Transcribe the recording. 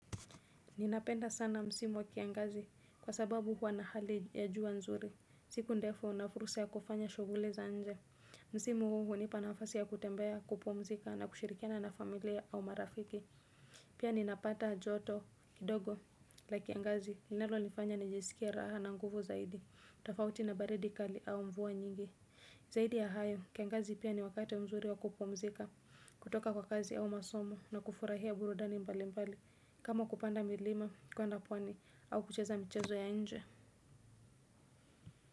Ninapenda sana msimu wa kiangazi kwa sababu huwa na hali ya jua nzuri. Siku ndefu na fursa ya kufanya shughuli za nje. Msimu hunipa nafasi ya kutembea kupumzika na kushirikiana na familia au marafiki. Pia ninapata joto kidogo la kiangazi. Linolonifanya nijisikie raha na nguvu zaidi. Tofauti na baridi kali au mvua nyingi. Zaidi ya hayo, kiangazi pia ni wakati mzuri wa kupumzika. Kutoka kwa kazi au masomo na kufurahia burudani mbali mbali. Kama kupanda milima, kuenda pwani au kucheza michezo ya nje.